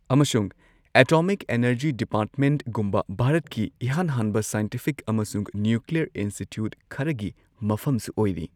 ꯑꯃꯁꯨꯡ atomic energy ꯗꯤꯄꯥꯔꯠꯃꯦꯟꯒꯨꯝꯕ ꯚꯥꯔꯠꯀꯤ ꯏꯍꯥꯟ ꯍꯥꯟꯕ ꯁꯥꯏꯟꯇꯤꯐꯤꯛ ꯑꯃꯁꯨꯡ ꯅ꯭ꯌꯨꯀ꯭ꯂꯤꯌꯔ ꯏꯟꯁꯇꯤꯇ꯭ꯌꯨꯠ ꯈꯔꯒꯤ ꯃꯐꯝꯁꯨ ꯑꯣꯏꯔꯤ꯫